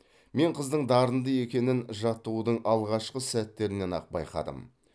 мен қыздың дарынды екенін жаттығудың алғашқы сәттерінен ақ байқадым